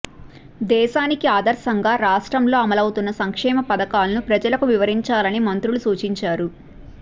దేశానికి ఆదర్శంగా రాష్ట్రంలో అమలవుతున్న సంక్షేమపథకాలను ప్రజలకు వివరించాలని మంత్రులు సూచించారు